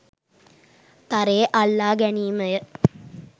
තරයේ අල්ලා ගැනීම ය.